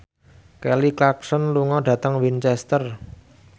Kelly Clarkson lunga dhateng Winchester